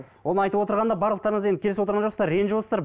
оның айтып отырғанына барлықтарыңыз енді келісіп отырған жоқсыздар ренжіп отырсыздар